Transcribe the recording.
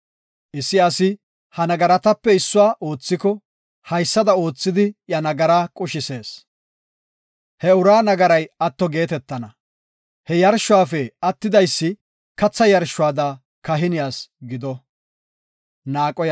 Issi asi ha nagaratape issuwa oothiko haysada oothidi iya nagara qushisees; he uraa nagaray atto geetetana. He yarshuwafe attidaysi katha yarshuwada kahiniyas gido.